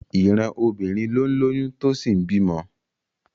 Ìran obìnrin ló ń lóyún tó sì ń bímọ